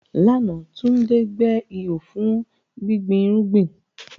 Lánàá, Tunde gbẹ́ ihò fún gbígbin irúgbìn.